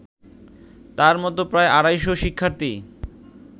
তার মতো প্রায় আড়াইশ শিক্ষার্থী